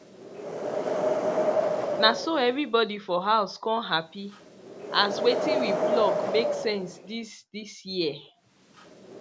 na so everybody for house con happy as wetin we pluck make sense this this year